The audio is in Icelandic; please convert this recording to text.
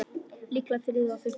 Líklega þriðja og fimmta